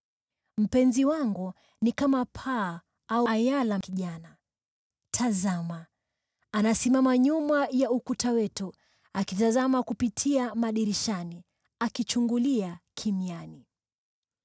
Mpenzi wangu ni kama paa au ayala kijana. Tazama! Anasimama nyuma ya ukuta wetu, akitazama kupitia madirishani, akichungulia kimiani.